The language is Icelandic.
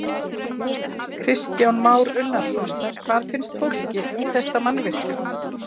Kristján Már Unnarsson: Hvað finnst fólki um þetta mannvirki?